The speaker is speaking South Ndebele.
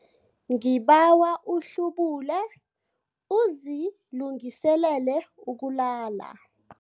Ngibawa uhlubule uzilungiselele ukulala.